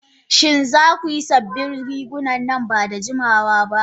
Shin za ku yi sabbin riguna nan ba da jimawa ba?